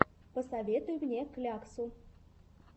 посоветуй мне кляксу